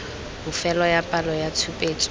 bofelo ya palo ya tshupetso